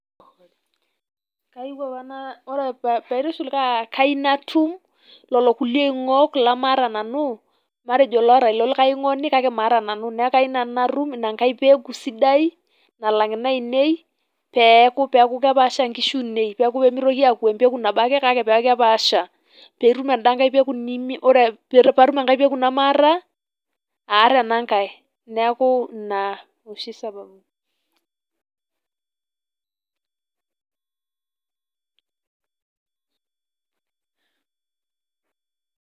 Kaiu apa naa ore paitushul naa kai natum lelo kulie oingok lemaata nanu matejo loota ilo likae oingoni niaku kai nanu natum enkae peku sidai nalang inainei peeku kepaasha nkishu ainei ,pemitoki aaku empeku nabo ake kake peaku kepaasha .